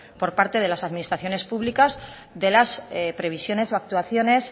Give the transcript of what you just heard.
por parte de las administraciones públicas de las previsiones o actuaciones